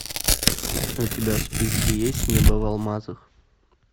у тебя в списке есть небо в алмазах